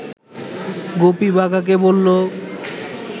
গুপি বাঘাকে বলল